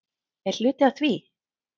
Er hluti af því?